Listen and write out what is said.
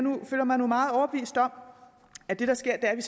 føler mig nu meget overbevist om at det der sker er